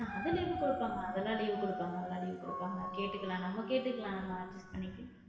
அது குடுப்பாங்க அதெல்லாம் leave குடுப்பாங்க அதெல்லாம் leave குடுப்பாங்க கேட்டுக்கலாம் நம்ம கேட்டுக்கலாம் நம்ம adjust பண்ணிக~